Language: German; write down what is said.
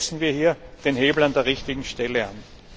Setzen wir hier den Hebel an der richtigen Stelle an!